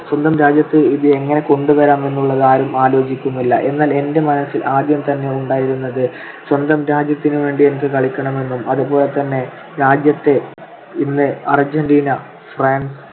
സ്വന്തം രാജ്യത്തിൽ ഇത് എങ്ങനെ കൊണ്ടുവരാമെന്നുള്ളത് ആരും ആലോചിക്കുന്നില്ല. എന്നാൽ എന്റെ മനസ്സിൽ ആദ്യം തന്നെ ഉണ്ടായിരുന്നത് സ്വന്തം രാജ്യത്തിന് വേണ്ടി എനിക്ക് കളിക്കണമെന്നും അതുപോലെതന്നെ രാജ്യത്തെ ഇന്ന് അർജന്റീന, ഫ്രാൻസ്